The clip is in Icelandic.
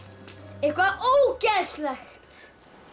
eitthvað ógeðslegt